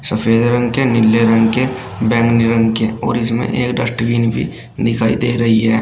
सफेद रंग के नीले रंग के बैंगनी रंग के और इसमें एक डस्टबिन भी दिखाई दे रही है।